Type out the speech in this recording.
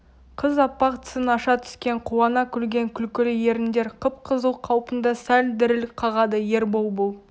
қыз аппақ тісін аша түскен қуана күлген күлкілі еріндер қып-қызыл қалпында сәл діріл қағады ербол бұл